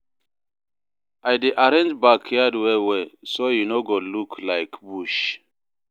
I dey arrange backyard well well, so e no go look like bush.